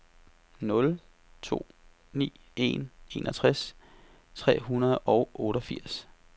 nul to ni en enogtres tre hundrede og otteogfirs